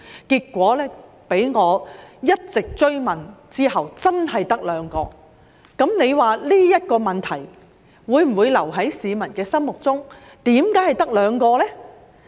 結果在我一直追問之下，發現真的只有兩個，你說這問題會否留在市民心中，思疑為何只有兩個呢？